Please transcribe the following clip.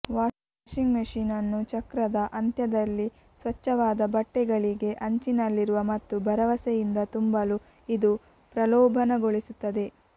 washing ಮೆಷಿನ್ನನ್ನು ಚಕ್ರದ ಅಂತ್ಯದಲ್ಲಿ ಸ್ವಚ್ಛವಾದ ಬಟ್ಟೆಗಳಿಗೆ ಅಂಚಿನಲ್ಲಿರುವ ಮತ್ತು ಭರವಸೆಯಿಂದ ತುಂಬಲು ಇದು ಪ್ರಲೋಭನಗೊಳಿಸುತ್ತದೆ